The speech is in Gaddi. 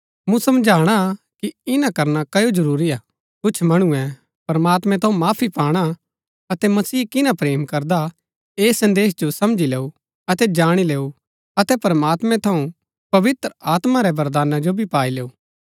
मूँ समझाणा कि ईना करना क्ओ जरूरी हा कुछ मणुऐ प्रमात्मैं थऊँ माफी पाणा अतै मसीह किना प्रेम करदा हा ऐस संदेश जो समझी लैऊ अतै जाणी लैऊ अतै प्रमात्मैं थऊँ पवित्र आत्मा रै वरदाना जो भी पाई लैऊ